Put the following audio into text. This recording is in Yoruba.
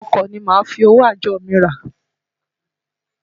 Ọkọ ni màá fi owó àjọ mi rà.